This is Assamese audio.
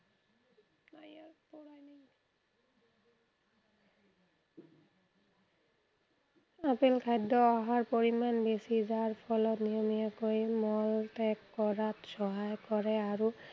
আপেল খাদ্য়ৰ আহাৰ পৰিমান বেছি। যাৰ ফলত নিয়মীয়াকৈ মল ত্য়াগ কৰাত সহায় কৰে আৰু